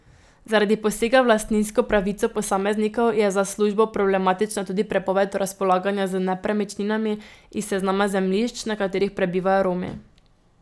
Zaradi posega v lastninsko pravico posameznikov je za službo problematična tudi prepoved razpolaganja z nepremičninami iz seznama zemljišč, na katerih prebivajo Romi.